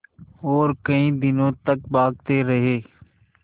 और कई दिनों तक भागते रहे